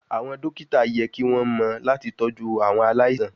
Awọn dokita yẹ ki won mo lati toju awon alaisan